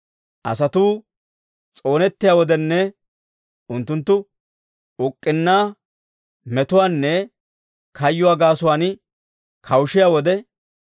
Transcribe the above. Asatuu s'oonettiyaa wodenne unttunttu uk'k'unnaa, metuwaanne kayyuwaa gaasuwaan kawushiyaa wode,